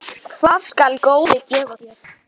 Hvað skal góði gefa þér?